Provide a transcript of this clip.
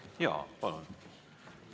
Jaa, palun!